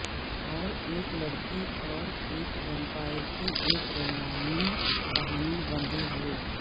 اور ایک لڑکی اور ایک ویمپائر کی ایک رومانوی کہانی بندھے ہوئے